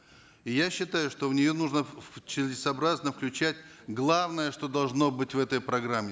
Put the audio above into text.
я считаю что в нее нужно целесообразно включать главное что должно быть в этой программе